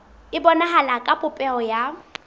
e bonahala ka popeho ya